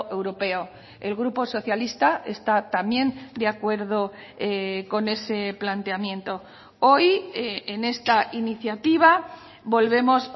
europeo el grupo socialista está también de acuerdo con ese planteamiento hoy en esta iniciativa volvemos